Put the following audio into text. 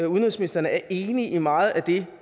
udenrigsministeren er enig i meget af det